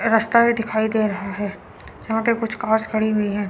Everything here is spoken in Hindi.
रस्ता भी दिखाई दे रहा है यहां पे कुछ कार्स खड़ी हुई हैं।